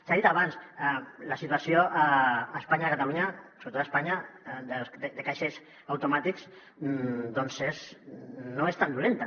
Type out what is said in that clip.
s’ha dit abans la situació a espanya a catalunya sobretot a espanya de caixers automàtics doncs no és tan dolenta